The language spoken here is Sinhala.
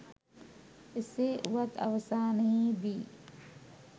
එසේ වුවත් අවසානයේ දී